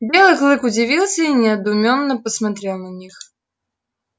белый клык удивился и недоумённо посмотрел на них